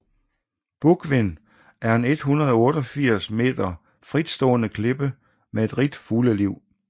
Búgvin er en 188 meter fritstående klippe med et rigt fugleliv